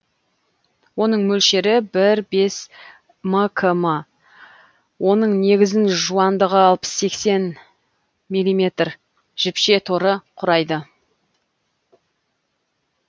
оның мөлшері бір бес мкм оның негізін жуандығы алпыс сексен миллиметр жіпше торы құрайды